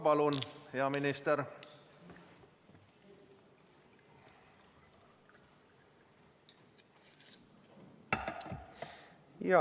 Palun, hea minister!